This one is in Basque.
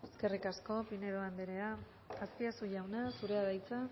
eskerrik asko pinedo anderea azpiazu jauna zurea da hitza